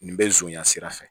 Nin bɛ zonya sira fɛ